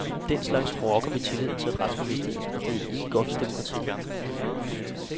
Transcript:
Den slags rokker ved tilliden til retsbevidstheden, og det er ikke godt for demokratiet.